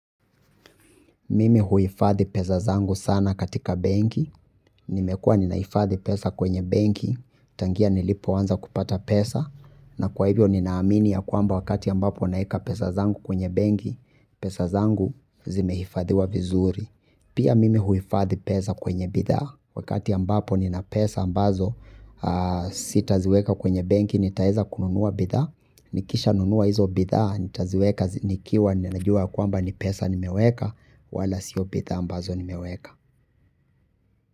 Mimi huhifadhi pesa zangu sana katika benki, nimekuwa ninahifadhi pesa kwenye benki, tangia nilipoanza kupata pesa, na kwa hivyo ninaamini ya kwamba wakati ambapo naweka pesa zangu kwenye benki, pesa zangu zimehifadhiwa vizuri. Pia mimi huhifadhi pesa kwenye bidhaa, wakati ambapo nina pesa ambazo, si taziweka kwenye benki, nitaeza kununua bidhaa, nikisha nunua hizo bidhaa, nitaziweka, nikiwa, ninajua kwamba ni pesa nimeweka, wala sio bidhaa ambazo nimeweka.